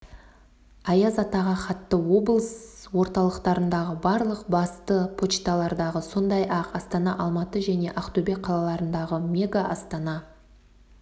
аяз атаға хатты облыс орталықтарындағы барлық басты почтамттардағы сондай-ақ астана алматы және ақтөбе қалаларындағы мега астана